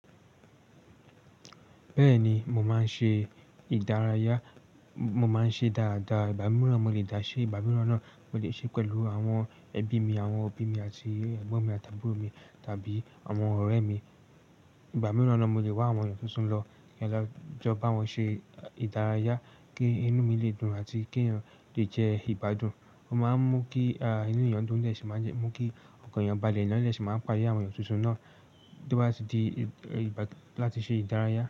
Bẹ́ẹ̀ni, mo máa ń ṣe ìdárayá, mo máa ń ṣe dáadáa. Ìgbà mìíràn mo lè dá ṣée, ìgbà mìíràn náà mo lè ṣee pẹ̀lú àwọn ẹbí mi, àwọn òbí mi àti ẹ̀gbọ́n mi àt'àbúrò mi tàbí àwọn ọ̀rẹ́ mi. Ìgbà mìíràn náà mo lè wá àwọn èyàn tuntun lọ, ki n lọ jọ bá wọn ṣe ìdárayá kí inú mi lè dùn àti kí èèyàn lè jẹ ìgbádùn. O máa ń mú kí ah inú èèyàn dún de si máa ń jẹ, mú kí ọkàn èèyàn balẹ̀ eyan de si máa ń pade àwọn èyàn tuntun náà tó bá ti di ìgbà láti ṣe ìdárayá.